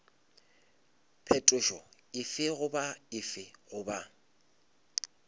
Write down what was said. phetošo efe goba efe goba